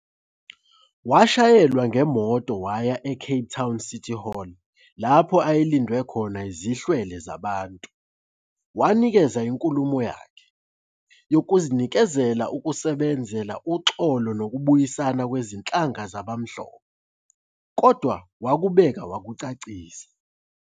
Washayelwa ngemoto waya eCape Town's City Hall lapho ayelindwe khona zihlwele zabantu, wanikeza inkulumo yakhe, yokuzinikela ukusebenzela uxolo nokubuyisana kwezinhlanga zabamhlophe, kodwa wakubeka wakucacisa